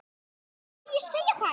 Frá hverju segja þær?